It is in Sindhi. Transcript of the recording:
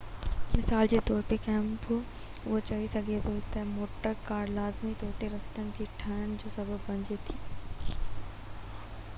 مثال جي طور تي ڪو اهو چئي سگهي ٿو ته موٽر ڪار لازمي طور تي رستن جي ٺهڻ جو سبب بڻجي ٿي